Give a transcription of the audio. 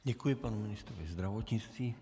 Děkuji panu ministrovi zdravotnictví.